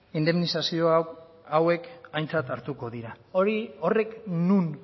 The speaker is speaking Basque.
indemnizazio hauek aintzat hartuko dira horrek non